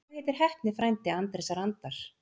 Hvað heitir heppni frændi Andrésar Andar?